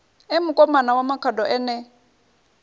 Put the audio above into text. e mukomana wa makhado ene